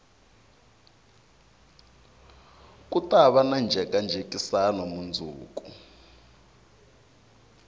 ku tava na njhekanjhekisano mundzuku